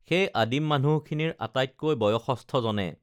সেই আদিম মানুহখিনিৰ আটাইতকৈ বয়সস্থজনে